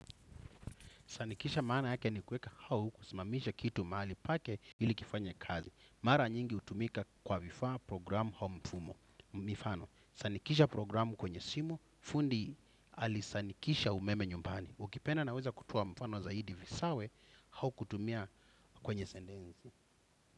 Sanikisha maana yake ni kuweka au kusimamisha kitu mahali pake ili kifanye kazi. Mara nyingi hutumika kwa vifaa programu au mfumo. Mifano, sanikisha programu kwenye simu, fundi alisanikisha umeme nyumbani. Ukipenda naweza kutoa mfano zaidi visawe au kutumia kwenye sentensi.